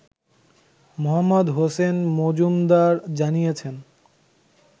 মোহাম্মদ হোসেন মজুমদার জানিয়েছেন